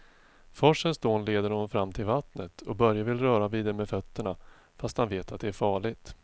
Forsens dån leder honom fram till vattnet och Börje vill röra vid det med fötterna, fast han vet att det är farligt.